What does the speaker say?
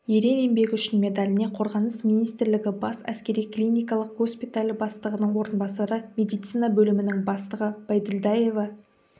ерен еңбегі үшін медаліне қорғаныс министрлігі бас әскери клиникалық госпиталі бастығының орынбасары медицина бөлімінің бастығы байділдаева